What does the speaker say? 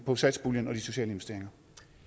på satspuljen og de sociale investeringer